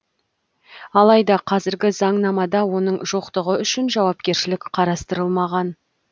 алайда қазіргі заңнамада оның жоқтығы үшін жауапкершілік қарастырылмаған